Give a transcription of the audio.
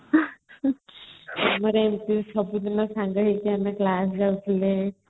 ମନେ ଅଛି ସବୁଦିନ ଆମେ ସାଙ୍ଗ ହେଇକି class ଯାଉଥିଲେ